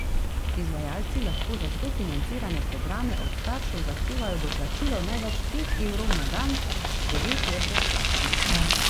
Izvajalci lahko za sofinancirane programe od staršev zahtevajo doplačilo največ pet evrov na dan, devet je brezplačnih.